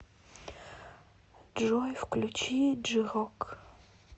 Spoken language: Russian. джой включи джи рок